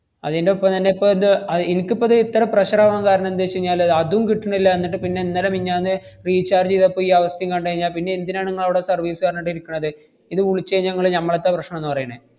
അതിന്‍റെ ഒപ്പം തന്നെയിപ്പ ഇത് അഹ് ഇനിക്കിപ്പത് ഇത്ര pressure ആവാൻ കാരണം എന്തുവെച്ചെഞ്ഞാല് അതും കിട്ടണില്ല എന്നട്ട് പിന്നെ ഇന്നലെ മിഞ്ഞാന്ന് recharge ചെയ്തപ്പ ഈ അവസ്ഥേം കണ്ടുകഴിഞ്ഞാ, പിന്നെ എന്തിനാണ് ങ്ങളവിടെ service അറഞ്ഞോണ്ട് ഇരിക്കണത്. ഇത് വുളിച്ച് കഴിഞ്ഞാ ങ്ങള് ഞമ്മളെത്തെ പ്രശ്‌നംന്നാ പറയണേ.